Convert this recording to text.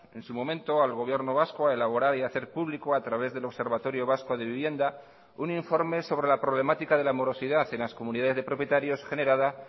en su momento al gobierno vasco a elaborar y a hacer público a través del observatorio vasco de vivienda un informe sobre la problemática de la morosidad en las comunidades de propietarios generada